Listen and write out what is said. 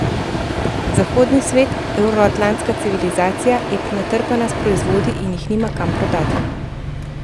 Zahodni svet, evroatlantska civilizacija je prenatrpana s proizvodi in jih nima kam prodati.